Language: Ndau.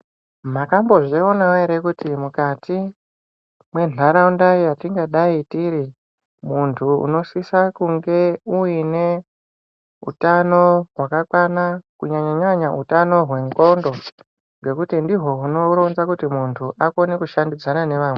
Mwakambo zvionavo ere kuti mukati mwentaraunda yatingadai tiri. Muntu munosisa kunge uine utano hwakakwana kunyanya-nyanya utamo hwendxondo. Ngekuti ndiho hunoronza kuti muntu akone kushandidzana nevamweni.